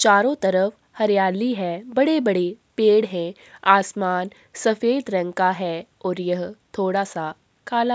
चारो तरफ हरियाली है बड़े-बड़े पेड़ हैं आसमान सफ़ेद रंग का है और यह थोड़े सा काला --